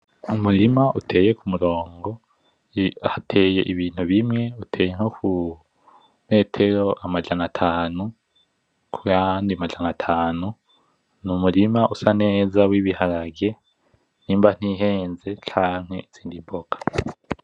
Umurima uteye kumurongo hateye ibintu bimwe uteye nko ku metero amajana atanu kuyandi majana atanu n,umurima usa neza w,ibiharage nimba ntihenze canke izindi mboga